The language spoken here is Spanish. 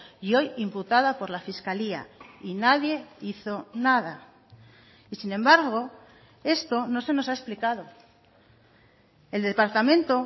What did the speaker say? y hoy imputada por la fiscalía y nadie hizo nada y sin embargo esto no se nos ha explicado el departamento